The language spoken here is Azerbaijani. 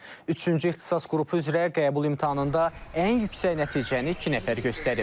Üçüncü ixtisas qrupu üzrə qəbul imtahanında ən yüksək nəticəni iki nəfər göstərib.